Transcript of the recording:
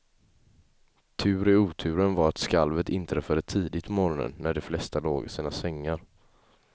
Tur i oturen var att skalvet inträffade tidigt på morgonen, när de flesta låg i sina sängar.